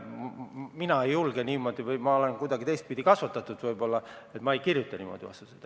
Mina ei julge niimoodi või ma olen kuidagi teistmoodi kasvatatud, igatahes ma ei kirjuta niimoodi vastuseid.